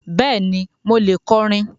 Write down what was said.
Bẹ́ẹ̀ni, mo lè kọrin.